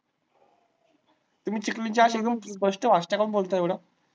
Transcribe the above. तुम्ही चिखलीचे अशे स्पष्ट भाषा का बोलताय एवढं?